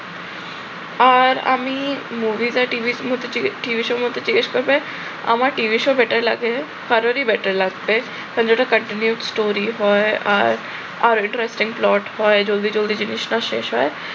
আর আমি movie না টিভির মধ্যে যে টিভিসমূহকে জিজ্ঞেস করবে আমার টিভি show better লাগে, কারোরই better লাগবে। কারণ যে ওটা continuous story হয় আর আর interesting plot হয় জলদি জলদি জিনিস না শেষ হয়